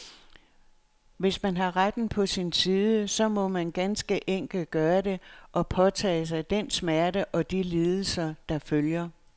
Men hvis man har retten på sin side, så må man ganske enkelt gøre det, og påtage sig den smerte og de lidelser, der følger.